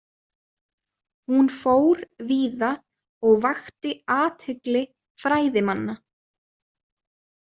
Hún fór víða og vakti athygli fræðimanna.